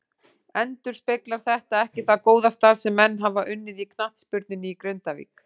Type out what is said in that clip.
Endurspeglar þetta ekki það góða starf sem menn hafa unnið í knattspyrnunni í Grindavík.